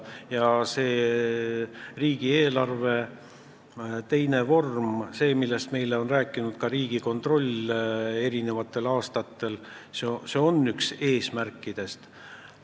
Ja riigieelarve teine vorm – see, millest on meile mitu aastat rääkinud ka Riigikontroll – on üks eesmärkidest.